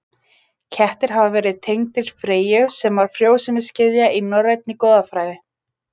Kettir hafa verið tengdir Freyju sem var frjósemisgyðja í norrænni goðafræði.